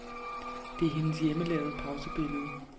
Det er hendes hjemmelavede pausebillede.